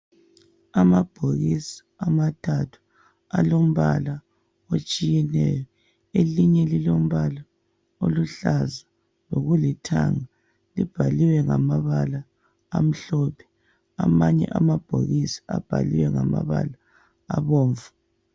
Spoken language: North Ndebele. Amabhokisi amathathu alombala otshiyeneyo. Elinye lilombala oluhlaza lokulithanga. Libhaliwe ngamabala amhlophe. Amanye amabhokisi abhaliwe ngamabala abomvu.